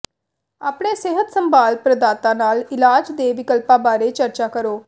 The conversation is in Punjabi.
ਆਪਣੇ ਸਿਹਤ ਸੰਭਾਲ ਪ੍ਰਦਾਤਾ ਨਾਲ ਇਲਾਜ ਦੇ ਵਿਕਲਪਾਂ ਬਾਰੇ ਚਰਚਾ ਕਰੋ